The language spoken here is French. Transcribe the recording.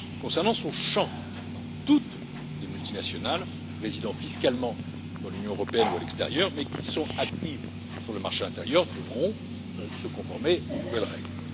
En ce qui concerne son champ, toutes les multinationales qui résident fiscalement dans l'Union européenne ou à l'extérieur mais qui sont actives sur le marché intérieur devront se conformer aux nouvelles règles.